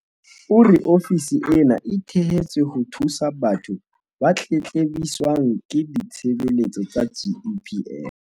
O re ofisi ena e thehetswe ho thusa batho ba tletlebiswang ke ditshebeletso tsa GEPF.